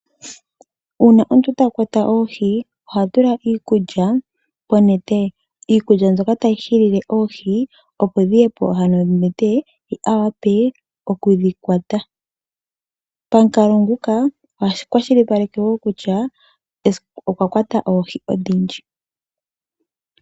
Uuna omuntu ta kwata oohi oha tula iikulya konete. Iikulya mbyoka tayi hilile oohi opo dhiye ano ponete, ye a wape okudhi kwata. Pamukalo nguka oha kwashilipaleke wo kutya okwa kwata oohi odhindji.